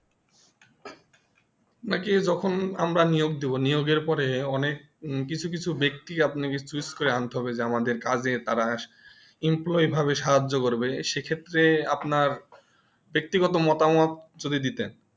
আপনাকে যখন আমরা নিয়োগ দিবো নিয়োগের পরে অনেক কিছু কিছু বক্তি আপনি choose করে আনতে হবে যেমন যে কাজে তারা Employ ভাবে সাহায্য করবে সেই ক্ষেত্রে আপনার ব্যক্তিগত মতামত যদি দিতেন